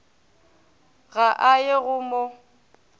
ga a ye go mo